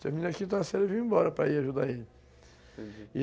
Terminei aqui da série e vim embora para ir ajudar ele. Uhum.